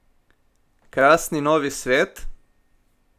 Krasni novi svet?